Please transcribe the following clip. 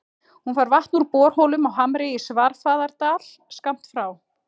Hún fær vatn úr borholum á Hamri í Svarfaðardal, skammt frá